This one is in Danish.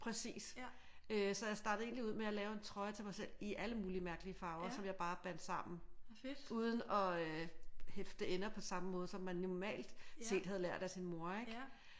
Præcis øh så jeg startede egentlig ud med at lave en trøje til mig selv i alle mulige mærkelige farver som jeg bare bandt sammen uden og øh hæfte ender på samme måde som man normalt set havde lært af sin mor ik?